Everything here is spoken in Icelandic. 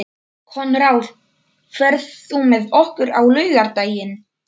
Konráð, ferð þú með okkur á laugardaginn?